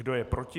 Kdo je proti?